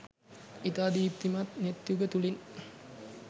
ඉතා දීප්තිමත් නෙත් යුග තුළින්